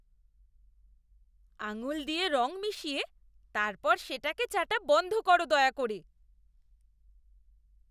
আঙুল দিয়ে রং মিশিয়ে তারপর সেটাকে চাটা বন্ধ করো দয়া করে।